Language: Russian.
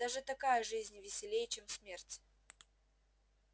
даже такая жизнь веселей чем смерть